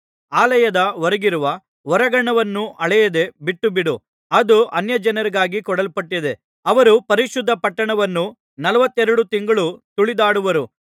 ಆಲಯದ ಹೊರಗಿರುವ ಹೊರಾಂಗಣವನ್ನು ಅಳೆಯದೆ ಬಿಟ್ಟುಬಿಡು ಅದು ಅನ್ಯಜನರಿಗಾಗಿ ಕೊಡಲ್ಪಟ್ಟಿದೆ ಅವರು ಪರಿಶುದ್ಧ ಪಟ್ಟಣವನ್ನು ನಲವತ್ತೆರಡು ತಿಂಗಳು ತುಳಿದಾಡುವರು